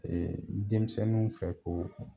denmisɛnninw fɛ ko